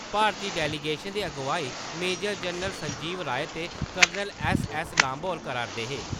भारती delegation दी अगुवाई major general Sanjeev Rai ते कर्नल ऐस्स.ऐस्स. लांबा होर करा'रदे हे।